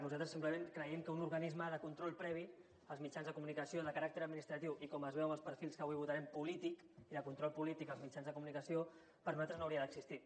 nosalt res simplement creiem que un organisme de control previ als mitjans de comunicació de caràcter administratiu i com es veu en els perfils que avui votarem polític i de control polític als mitjans de comunicació per nosaltres no hauria d’existir